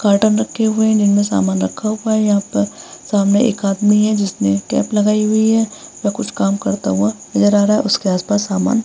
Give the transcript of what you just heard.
Carton रखें हुए हैं जिनमें सामान रखा हुआ है। यहाँ पर सामने एक आदमी है जिसने कैप लगाई हुई है जो कुछ काम करता हुआ नजर आ रहा है। उसके आसपास सामान --